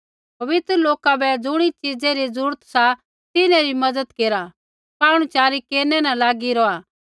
पवित्र लौका बै ज़ुणी च़ीज़ै री जरूरत सा तिन्हैं री मज़त केरा पाहुणच़ारै केरनै न लागी रौहा